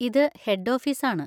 ഇത് head office ആണ്.